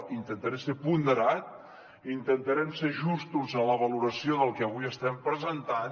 intentaré ser ponderat intentarem ser justos en la valoració del que avui estem presentant